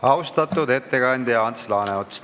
Austatud ettekandja Ants Laaneots!